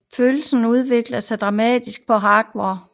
Følelserne udvikler sig dramatisk på Hogwarts